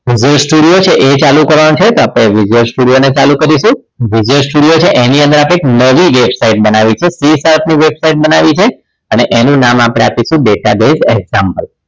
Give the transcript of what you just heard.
visual studio છે એ ચાલુ કરવાનો છે તો આપણે visual studio ને ચાલુ કરીશું visual studio છે એ ની અંદર આપણે નવી website બનાવીશું CSHARP ની website બનાવી છે અને એનું નામ આપીશું database example